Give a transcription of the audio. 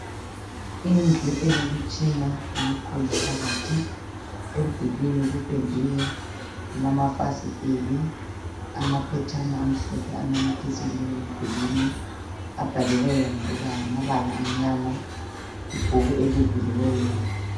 Indlu elemitshina emikhulu phakathi emdulwini kuphendiwe kulamafasiteli amaphetshana amhlophe anamathiselwe endulwini abhaliweyo ngokuba ngamabala anyama ibhuku elivuliweyo